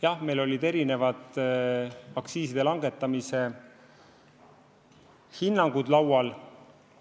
Jah, meil olid erinevad aktsiiside langetamise hinnangud laual.